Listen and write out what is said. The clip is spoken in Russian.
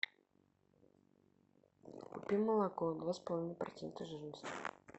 купи молоко два с половиной процента жирности